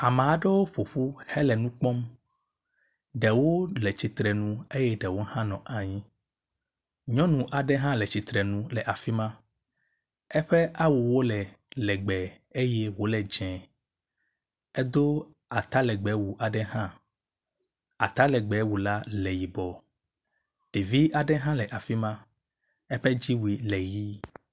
Ame aɖewo ƒoƒu hele nu kpɔm. Ɖewo le tsitre nu eye ɖewo hã nɔ anyi. Nyɔnu aɖe hã le tsitre nu le afi ma. Eƒe awuwo le legbe eye wo le dze. Edo atalegbewu aɖe hã. Atalegbewu la le yibɔ. Ɖevi aɖe hã le afi ma eƒe dziwui le ʋi.